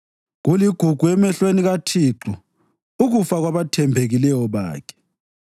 Kuligugu emehlweni kaThixo ukufa kwabathembekileyo bakhe.